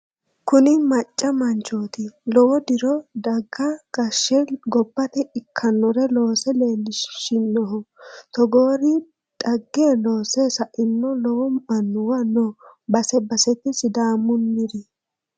Kuni macca manchoti lowo diro daga gashshe gobbate ikkanore loose leelishinoho togoori dhagge loosse sainori lowo annuwa no base basete sidaamunniri